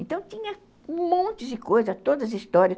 Então tinha um monte de coisa, todas histórias.